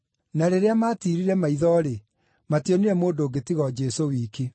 Na rĩrĩa maatiirire maitho-rĩ, mationire mũndũ ũngĩ tiga o Jesũ wiki.